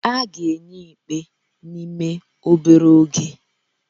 A ga-enye ikpe n'ime obere oge